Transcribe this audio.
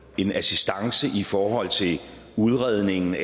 en assistance i forhold til udredningen